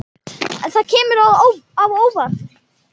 Það kemur á óvart.